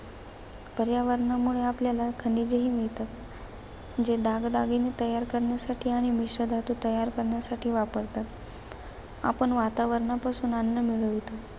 पर्यावरणामुळे आपल्याला खनिजेही मिळतात. जे दागदागिने तयार करण्यासाठी आणि मिश्रधातू तयार करण्यासाठी वापरतात. आपण वातावरणापासून अन्न मिळवतो.